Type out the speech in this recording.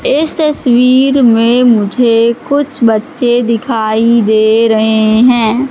इस तस्वीर में मुझे कुछ बच्चे दिखाई दे रहे हैं।